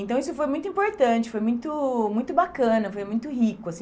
Então isso foi muito importante, foi muito muito bacana, foi muito rico assim.